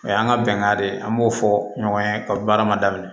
O y'an ka bɛnga de ye an b'o fɔ ɲɔgɔn ye ka baara ma daminɛ